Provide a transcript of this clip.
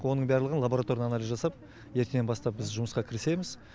оның барлығын лабороторный анализ жасап ертеңнен бастап біз жұмысқа кірісеміз